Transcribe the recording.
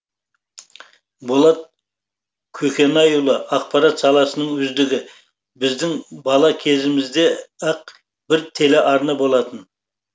болат көкенайұлы ақпарат саласының үздігі біздің бала кезімізде ақ бір телеарна болатын